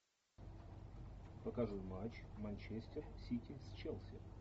покажи матч манчестер сити с челси